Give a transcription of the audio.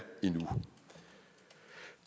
endnu